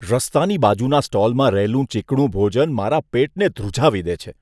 રસ્તાની બાજુના સ્ટોલમાં રહેલું ચીકણું ભોજન મારા પેટને ધ્રુજાવી દે છે.